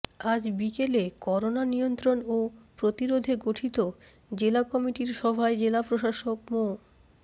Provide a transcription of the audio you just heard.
আজ বিকেলে করোনা নিয়ন্ত্রণ ও প্রতিরোধে গঠিত জেলা কমিটির সভায় জেলা প্রশাসক মো